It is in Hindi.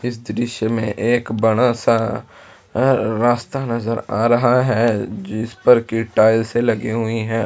इस दृश्य में एक बड़ा सा रास्ता नज़र आ रहा है जिसपर की टाइलसे लगी हुई है।